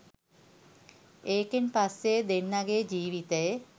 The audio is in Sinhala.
ඒකෙන් පස්සෙ දෙන්නගේ ජීවිතේ